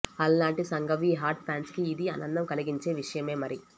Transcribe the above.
అలానాటి Sanghavi hot fans కి ఇది ఆనందం కలిగించే విషయమే మరీ